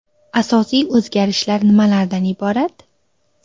Asosiy o‘zgarishlar nimalardan iborat?